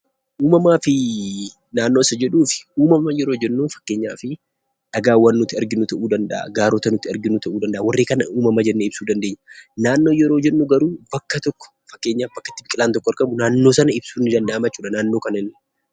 Uumamaa fi naannoo isa jedhuufi uumamaa yeroo jennu fakkeenyaaf dhagaawwan ta'uu danda'a, gaarota ta'uu danda'a warreen kana uumama jennee ibsuu dandeenya. Naannoo yeroo jennu garuu bakka tokko fakkeenyaaf bakka itti biqilaan tokko argamu. Naannoo sana ibsuun ni danda'ama jechuudha.